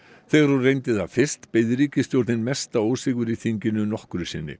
þegar hún reyndi það fyrst beið ríkisstjórnin mesta ósigur í þinginu nokkru sinni